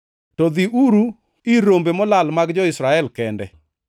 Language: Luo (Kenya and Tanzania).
To dhiuru ir rombe molal mag jo-Israel kende.